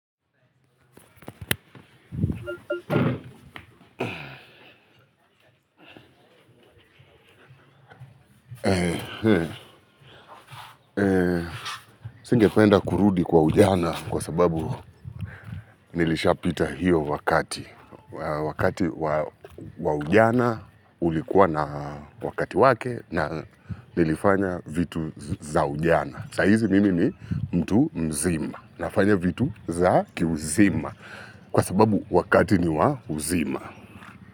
Singependa kurudi kwa ujana kwa sababu nilishapita hiyo wakati. Wakati wa ujana ulikuwa na wakati wake na nilifanya vitu za ujana. Sa hizi mimi ni mtu mzima nafanya vitu za kiuzima kwa sababu wakati ni wa uzima.